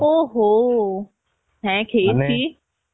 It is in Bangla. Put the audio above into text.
ও হ হ্যাঁ